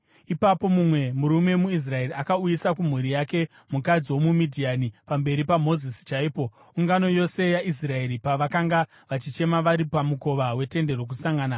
Ipapo mumwe murume muIsraeri akauyisa kumhuri yake mukadzi womuMidhiani pamberi paMozisi chaipo, ungano yose yaIsraeri pavakanga vachichema vari pamukova weTende Rokusangana.